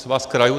Svaz krajů.